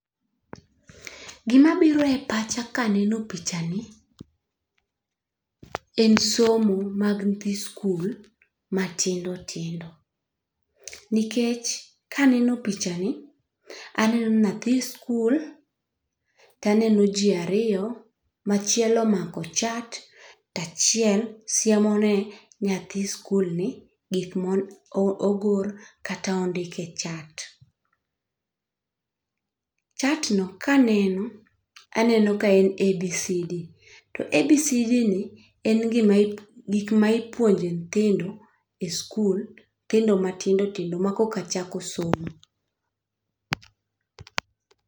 Gima biro e pacha kaneno picha ni en somo mag nyithi skul matindo tindo. Nikech kaneno picha ni aneno nyathi skul taneno jii ariyo machiel omako chat tachiel siemo ne nyathi skul ni gik mogor kata ondik e chat. Chat no kaneno, aneno ka en a, b, c, d to a, b, c, d ni en gima gik ma ipuonjo nyithindo e skul nyithindo matindo tindo ma koka chako somo.